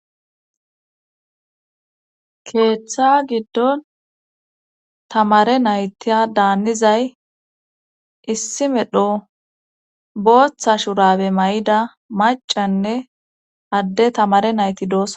Keeththa giddon tamare naytiya daannizay issi medho booththa shurabe may7ida macanne adde tamare nayti dooss.